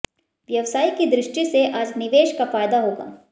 व्यव्साय की दृष्टि से आज निवेश का फायदा होगा